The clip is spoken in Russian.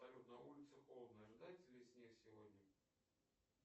салют на улице холодно ожидается ли снег сегодня